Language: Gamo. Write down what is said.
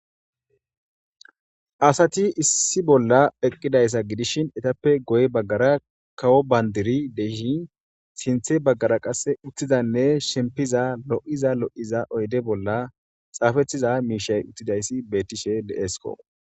Asati issi bolla eqqidayssa gidishin etappe goy baggara kawo bandiri deshin sinthe baggara qasse uttizanne shimpiza lo'iza lo'iza oyde bolla xaafetiza miishay uttidayssi bettishe deesko